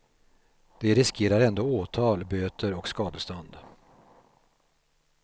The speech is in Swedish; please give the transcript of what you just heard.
De riskerar ändå åtal, böter och skadestånd.